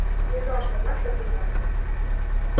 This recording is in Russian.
не знал что у нас так гуманно